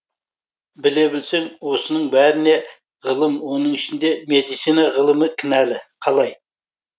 біле білсең осының бәріне ғылым оның ішіндегі медицина ғылымы кінәлі қалай